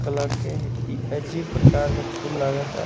Colour के इ अजीब प्रकार के फूल लगाता।